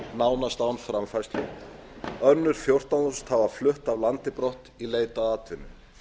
nánast án framfærslu önnur fjórtán þúsund hafa flutt af landi brott og leitað atvinnu